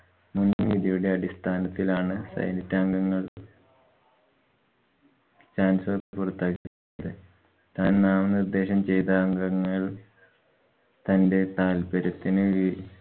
മുന്‍വിധിയുടെ അടിസ്ഥാനത്തിലാണ് senate അംഗങ്ങള്‍ chancellor പുറത്താക്കിയത് താന്‍ നാമനിര്‍ദ്ദേശം ചെയ്ത അംഗങ്ങള്‍ തന്‍ടെ താല്‍പര്യത്തിനു വി